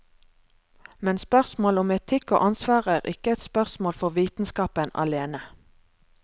Men spørsmål om etikk og ansvar er ikke et spørsmål for vitenskapen alene.